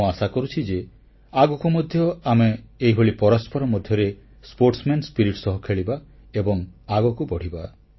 ମୁଁ ଆଶା କରୁଛି ଯେ ଆଗକୁ ମଧ୍ୟ ଆମେ ଏହିଭଳି ପରସ୍ପର ମଧ୍ୟରେ ଖେଳୁଆଡ ମନୋବୃତ୍ତି ବା ସ୍ପୋର୍ଟସମ୍ୟାନ ସ୍ପିରିଟ୍ ସହ ଖେଳିବା ଏବଂ ଆଗକୁ ବଢ଼ିବା